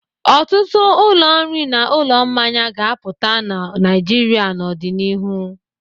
Ọtụtụ ụlọ nri na ụlọ mmanya ga-apụta na Naịjirịa n'ọdịnihu.